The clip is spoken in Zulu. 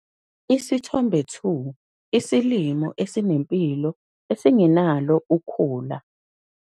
Isithombe 2- Isilimo esinempilo esingenalo ukhula.